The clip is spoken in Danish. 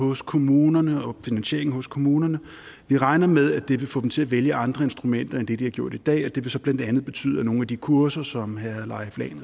hos kommunerne og finansieringen hos kommunerne vi regner med at det vil få dem til at vælge andre instrumenter end det de har gjort i dag og det vil så blandt andet betyde at nogle af de kurser som herre leif lahn